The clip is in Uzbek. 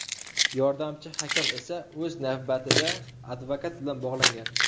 Yordamchi hakam esa o‘z navbatida advokat bilan bog‘langan.